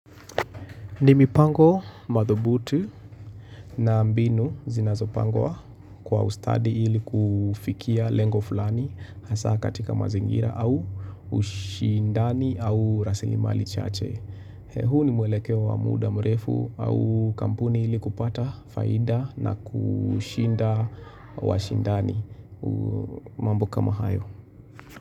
Nimipango madhubutu na mbinu zinazopangwa kwa ustadi ili kufikia lengo fulani hasa katika mazingira au ushindani au rasilimali chache. Huu nimweleke wa muda mrefu au kampuni ili kupata faida na kuushinda wa shindani mambo kama hayo.